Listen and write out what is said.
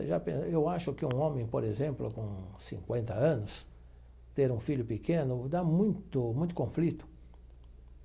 Eu já pen eu acho que um homem, por exemplo, com cinquenta anos, ter um filho pequeno, dá muito muito conflito.